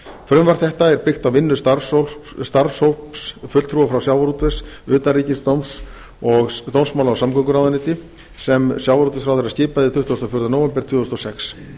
frumvarp þetta er byggt á vinnu starfshópi fulltrúa frá sjávarútvegs utanríkis dómsmála og samgönguráðuneyti sem sjávarútvegsráðherra skipaði tuttugasta og fjórða nóvember tvö þúsund og sex